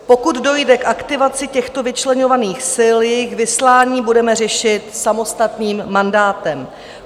Pokud dojde k aktivaci těchto vyčleňovaných sil, jejich vyslání budeme řešit samostatným mandátem.